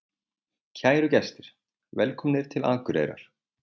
Kæru gestir! Velkomnir til Akureyrar.